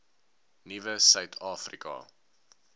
nuwe suid afrika